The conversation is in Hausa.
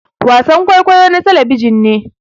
wasan kwaikwayo na talabijin ne